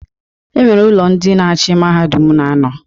E nwere ụlọ ndị na-achị mahadum na-anọ.